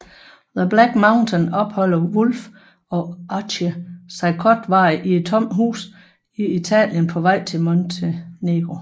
I The Black Mountain opholder Wolfe og Archie sig kortvarigt i et tomt hus i Italien på vej til Montenegro